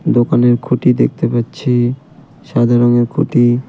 দোকানের খুঁটি দেখতে পাচ্ছি সাদা রঙের খুঁটি।